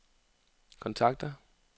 kontakter